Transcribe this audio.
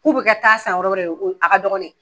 K'u bɛ kɛ taa san wɛrɛ de o a ka dɔgɔn ne.